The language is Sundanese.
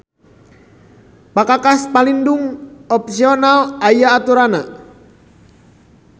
Pakakas palindung opsional aya aturannana